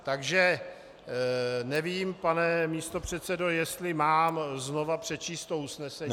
Takže nevím, pane místopředsedo, jestli mám znovu přečíst to usnesení.